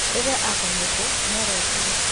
Rĩrĩa akomete nĩarotire.